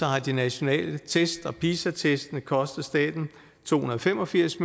har de nationale test og pisa testene kostet staten to hundrede og fem og firs